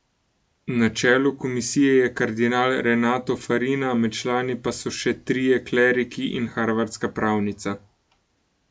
Na čelu komisije je kardinal Renato Farina, med člani pa so še trije kleriki in harvardska pravnica.